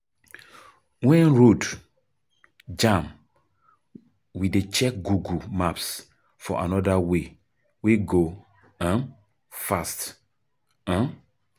Wen road jam, we dey check Google Maps for anoda way wey go um fast. um